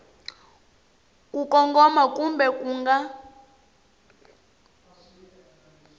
ku kongoma kumbe ku nga